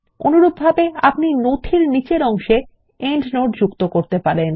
অনুরূপভাবে আপনি নথির নিচের অংশে প্রান্তটীকা যোগ করতে পারেন